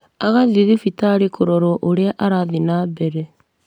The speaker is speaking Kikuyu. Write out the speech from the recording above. Agathiĩ thibitarĩ kũrorwo ũrĩa arathiĩ na mbere